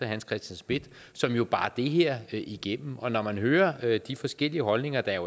hans christian schmidt som jo bar det her igennem og når man hører hører de forskellige holdninger der